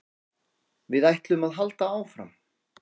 Við ætlum að halda áfram